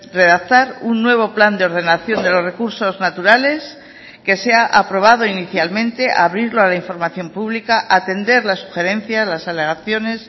redactar un nuevo plan de ordenación de los recursos naturales que sea aprobado inicialmente abrirlo a la información pública atender las sugerencias las alegaciones